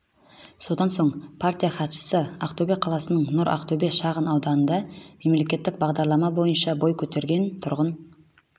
содан соң партия хатшысы ақтөбе қаласының нұр ақтөбе шағын ауданында мемлекеттік бағдарлама бойынша бой көтерген тұрғын